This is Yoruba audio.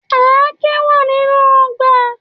Àáké wa ninu ọgbà.